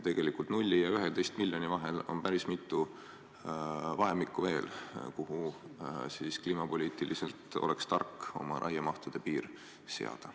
Tegelikult nulli ja 11 miljoni vahel on päris mitu vahemikku veel, kuhu kliimapoliitiliselt oleks tark oma raiemahtude piir seada.